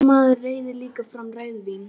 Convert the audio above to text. Kannski maður reiði líka fram rauðvín.